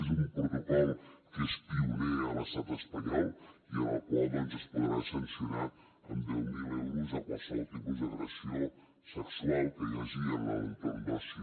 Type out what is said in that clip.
és un protocol que és pioner a l’estat espanyol i en el qual doncs es podrà sancionar amb deu mil euros qualsevol tipus d’agressió sexual que hi hagi en l’entorn d’oci